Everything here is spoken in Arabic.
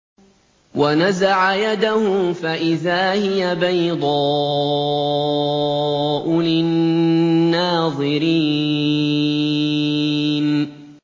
وَنَزَعَ يَدَهُ فَإِذَا هِيَ بَيْضَاءُ لِلنَّاظِرِينَ